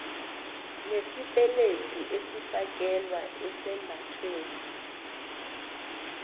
nesipeledu esifakelwa esambathweni